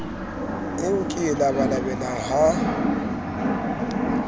eo ke e labalabelang ha